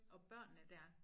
Og børnene dér